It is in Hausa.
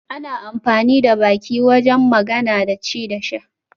Ana amfani da baki wajen magana, ci da sha